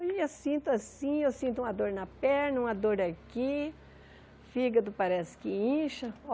Hoje em dia eu sinto assim, eu sinto uma dor na perna, uma dor aqui, fígado parece que incha.